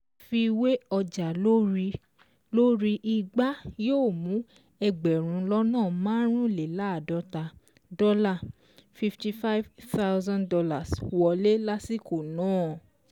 Àfiwé ọjà lórí lórí igbá yóò mú ẹgbẹ̀rún lọ́nà márùnléláàdọ́tà dọ́là ($ fifty five thousand ) wọlé lásìkò náà.